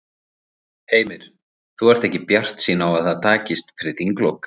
Heimir: Þú ert ekki bjartsýn á að það takist fyrir þinglok?